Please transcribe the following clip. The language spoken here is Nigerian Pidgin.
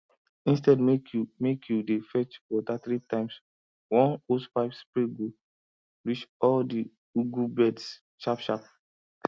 instead make you make you dey fetch water three times one hosepipe spray go reach all the ugu beds sharp sharp